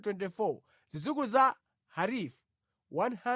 Zidzukulu za Harifu 112